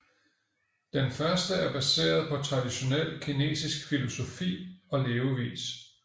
Den første er baseret på traditionel kinesisk filosofi og levevis